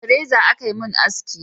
Da reza a Ka mun haski